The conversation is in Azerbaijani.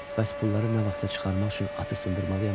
Bəs pulları nə vaxtsa çıxarmaq üçün atı sındırmalıyam axı?